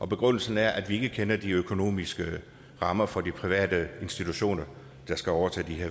begrundelsen er at vi ikke kender de økonomiske rammer for de private institutioner der skal overtage